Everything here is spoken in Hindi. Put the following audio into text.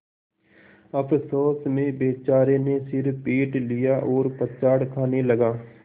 अफसोस में बेचारे ने सिर पीट लिया और पछाड़ खाने लगा